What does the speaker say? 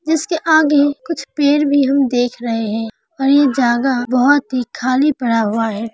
जिसके आगे कुछ पेंड़ भी हम देख रहे हैं और यह जागा बहोत ही खाली पड़ा हुआ है।